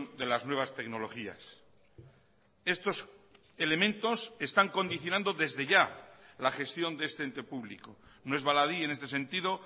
de las nuevas tecnologías estos elementos están condicionando desde ya la gestión de este ente público no es baladí en este sentido